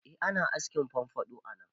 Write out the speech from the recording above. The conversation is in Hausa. Eh ana askin famfaɗo a nan